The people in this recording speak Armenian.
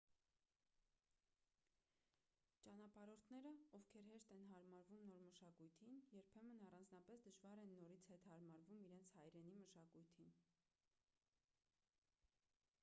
ճանապարհորդները ովքեր հեշտ են հարմարվում նոր մշակույթին երբեմն առանձնապես դժվար են նորից հետ հարմարվում իրենց հայրենի մշակույթին